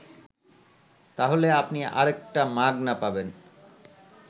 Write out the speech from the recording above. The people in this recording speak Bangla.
তাহলে আপনি আরেকটা মাগনা পাবেন